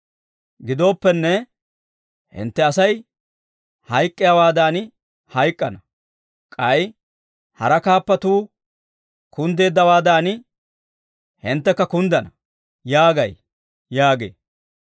Gidooppenne, hintte Asay hayk'k'iyaawaadan hayk'k'ana. K'ay hara kaappatuu kunddeeddawaadan, hinttekka kunddana› yaagay» yaagee.